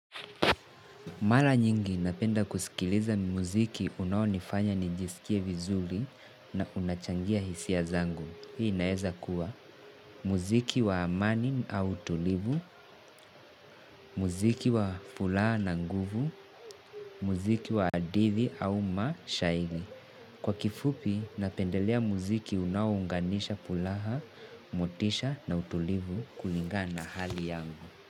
Mara nyingi napenda kusikiliza muziki unaonifanya nijisikie vizuli na unachangia hisia zangu. Hii naeza kuwa muziki wa amani au tulivu, muziki wa pulaha na nguvu, muziki wa adithi au mashahigi. Kwa kifupi napendelea muziki unaounganisha pulaha, motisha na utulivu kulinga na hali yangu.